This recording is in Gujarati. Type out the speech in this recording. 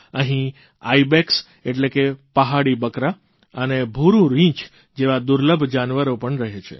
અહીં આઇબેક્સ એટલે કે પહાડી બકરા અને ભૂરૂં રીંછ જેવા દુર્લભ જાનવરો પણ રહે છે